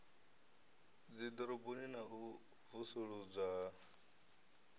dziḓoroboni na u vusuludzwa ha